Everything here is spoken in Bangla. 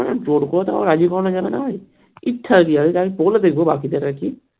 জোর করেতো আর রাজি করানো যাবেনা ইচ্ছে যদি হয় আমি বলে দেখবো বাকিদের আরকি